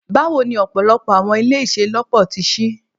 Bawo ni ọpọlọpọ Awọn ile iṣelọpọ ti ṣii